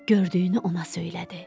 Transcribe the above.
Gördüyünü ona söylədi.